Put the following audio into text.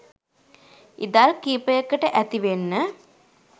ඉදල් කිහිපයකට ඇති වෙන්න